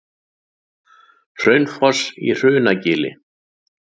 Hraunfoss í Hrunagili.